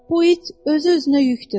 Bu it özü-özünə yükdür.